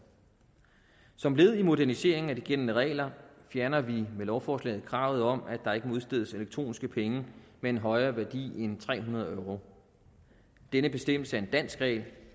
som led i moderniseringen af de gældende regler fjerner vi med lovforslaget kravet om at der ikke må udstedes elektroniske penge med en højere værdi end tre hundrede euro denne bestemmelse er en dansk regel